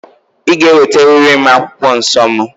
Ị ga-eweteriri m akwụkwọ nsọ mụ!